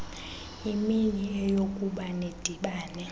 imini eyokuba nidibane